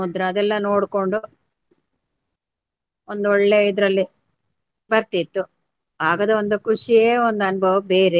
ಅದೆಲ್ಲ ನೋಡ್ಕೊಂಡು ಒಂದು ಒಳ್ಳೆ ಇದರಲ್ಲಿ ಬರ್ತಿತ್ತು ಆಗದ ಒಂದು ಖುಷಿಯೇ ಒಂದು ಅನುಭವ ಬೇರೆ.